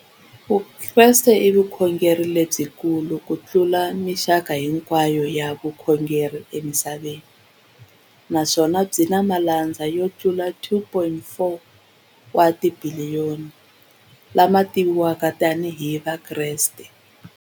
Vukreste i vukhongeri lebyikulu kutlula mixaka hinkwayo ya vukhongeri emisaveni, naswona byi na malandza yo tlula 2.4 wa tibiliyoni, la ma tiviwaka tani hi Vakreste.